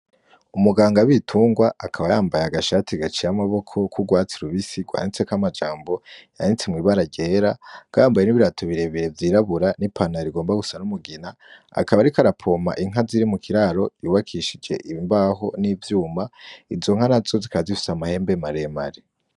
Umuganda w'ibitungwa akaba yambaye agashati gaciye amaboko k'ugwatsi rubisi gwanditseko amajambo yanditse mw'ibara ryera akaba yambaye n'ibirato birebire vyirabura n'ipantalo igomba gusa n'umugina akaba ariko arapompa Inka ziri mu kiraro yubakishije imbaho n'ivyuma izo nka nazo zikaba zifise amahembe maremare.